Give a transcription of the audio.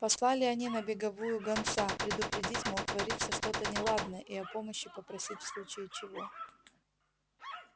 послали они на беговую гонца предупредить мол творится что-то неладное и о помощи попросить в случае чего